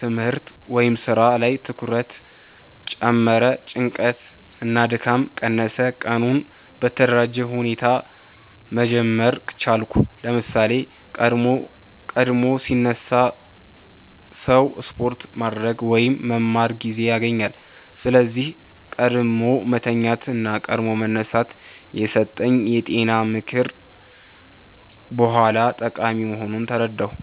ትምህርት/ስራ ላይ ትኩረት ጨመረ ጭንቀት እና ድካም ቀነሰ ቀኑን በተደራጀ ሁኔታ መጀመር ቻልኩ ለምሳሌ፣ ቀድሞ ሲነሳ ሰው ስፖርት ማድረግ ወይም መማር ጊዜ ያገኛል። ስለዚህ “ቀድሞ መተኛት እና ቀድሞ መነሳት” የተሰጠኝ የጤና ምክር በኋላ ጠቃሚ መሆኑን ተረዳሁ።